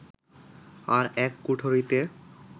আর এক কুঠরিতে